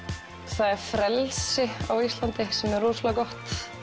það er frelsi á Íslandi sem er rosalega gott